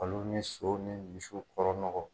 Olu ni sow ni misiw kɔrɔ nɔgɔ